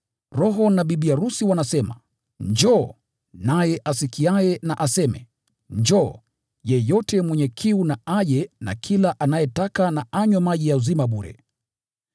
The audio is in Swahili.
Roho na bibi arusi wanasema, “Njoo!” Naye asikiaye na aseme, “Njoo!” Yeyote mwenye kiu na aje, na kila anayetaka na anywe maji ya uzima bure.